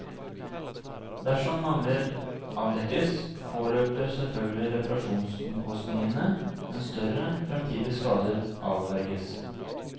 Dersom mangler avdekkes, påløper selvfølgelig reparasjonsomkostningene, men større, fremtidige skader avverges.